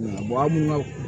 an mun ka